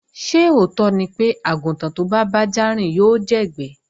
Ṣé òótọ́ ni pé, àgùntàn tó bá bájá rìn yóò jẹ́gbẹ́